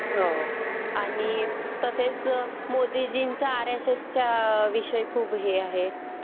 हो आणि मोदीजींचा आरएसएसविषयी खूप हे आहे.